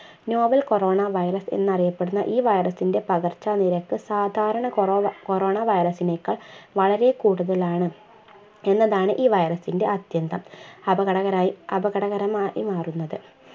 novel corona virus എന്ന് അറിയപ്പെടുന്ന ഈ virus ന്റ്റെ പകർച്ച നിരക്ക് സാധാരണ കോറോവ corona virus നേക്കാൾ വളരെ കൂടുതലാണ് എന്നതാണ് ഈ virus ന്റ്റെ അത്യന്തം അപകടകരായി അപകടകരമായി മാറുന്നത്